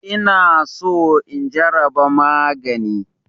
Ina so in jaraba magani.